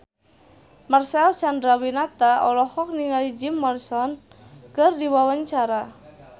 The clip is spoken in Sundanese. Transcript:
Marcel Chandrawinata olohok ningali Jim Morrison keur diwawancara